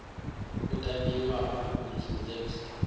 u tambiwa ha beautiful things